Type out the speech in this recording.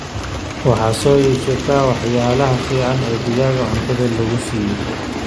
waxaa soo iibsata waxayalaha fican oo digaaga cunto lagusiiyo.